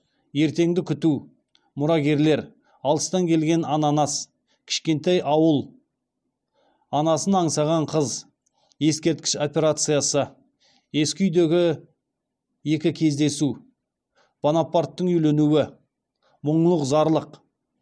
ертеңді күту мұрагерлер алыстан келген ананас кішкентай ауыл анасын аңсаған қыз ескерткіш операциясы ескі үйдегі екі кездесу бонапарттың үйленуі мұңлық зарлық